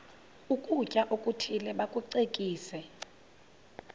ukutya okuthile bakucekise